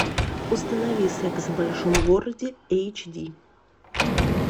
установи секс в большом городе эйч ди